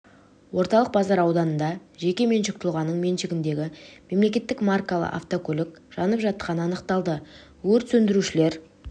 орталық базар ауданында жеке меншік тұлғаның меншігіндегі мемл маркалы автокөлік жанып жатқаны анықталды өрт сөндірушілер